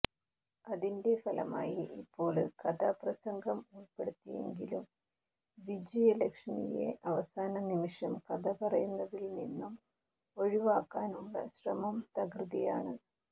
അതിന്റെ ഫലമായി ഇപ്പോള് കഥാപ്രസംഗം ഉള്പ്പെടുത്തിയെങ്കിലും വിജയലക്ഷ്മിയെ അവസാനനിമിഷം കഥ പറയുന്നതില് നിന്നും ഒഴിവാക്കാനുള്ള ശ്രമം തകൃതിയാണ്